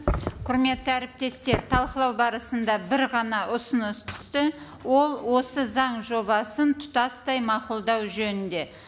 құрметті әріптестер талқылау барысында бір ғана ұсыныс түсті ол осы заң жобасын тұтастай мақұлдау жөнінде